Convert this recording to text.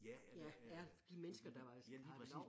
Ja eller øh ja lige præcis